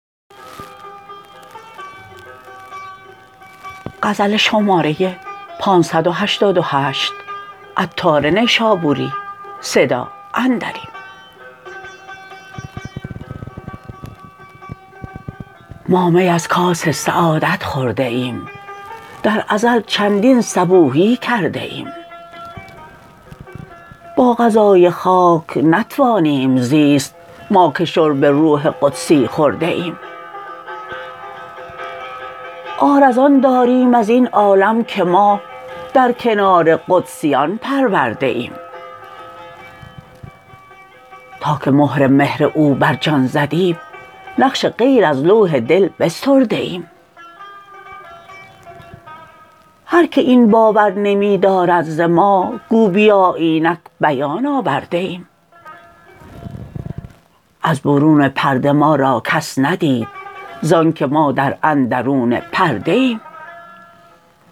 ما می از کاس سعادت خورده ایم در ازل چندین صبوحی کرده ایم با غذای خاک نتوانیم زیست ما که شرب روح قدسی خورده ایم عار از آن داریم ازین عالم که ما در کنار قدسیان پرورده ایم تا که مهر مهر او بر جان زدیم نقش غیر از لوح دل بسترده ایم هر که این باور نمی دارد ز ما گو بیا اینک بیان آورده ایم از برون پرده ما را کس ندید زانکه ما در اندرون پرده ایم گرچه عطاریم و بوی خوش دهیم خویشتن را به ز کس نشمرده ایم